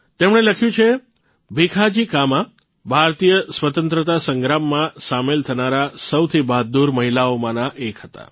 તેમણે લખ્યું છે ભીખાજી કામા ભારતીય સ્વતંત્રતા સંગ્રામમાં સામેલ થનારા સૌથી બહાદુર મહિલાઓમાંના એક હતાં